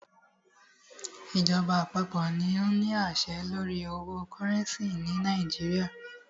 Ìjọba àpapọ̀ ní o ní àṣẹ lórí owo cúrẹ́ncì ni Nàìjíríà.